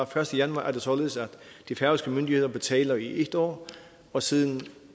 første januar er det således at de færøske myndigheder betaler i en år og siden